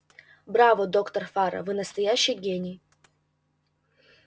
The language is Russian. браво доктор фара вы настоящий гений